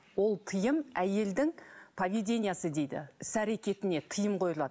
ол тыйым әйелдің поведениесы дейді іс әрекетіне тыйым қойылады